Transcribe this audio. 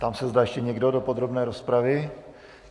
Ptám se, zda ještě někdo do podrobné rozpravy.